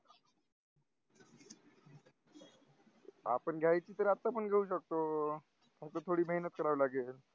आपण गाडी तर आता पण घेऊ शकतो पण थोडी महेनत कराव लागेल